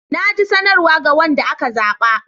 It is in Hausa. Na ji sanarwa ga wanda aka zaba.